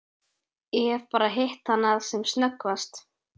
Ég hef bara hitt hana sem snöggvast.